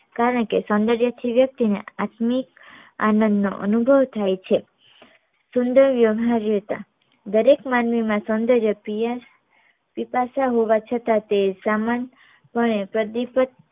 કારણ કે સોંદર્ય થી વ્યક્તિ ને આત્મિક આનંદ નો અનુભવ થાય છે સુંદર વ્યવ્હારીતા દરેક માનવી માં સોંદર્ય પ્રિય પીતાશ્ય હોવા છતાં તે સામાન્ય પણે પ્રદીપ્ત